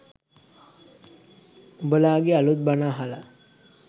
උඹලගේ අලුත් බණ අහලා